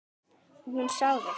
Og hún á þig.